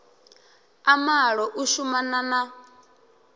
a malo u shumana na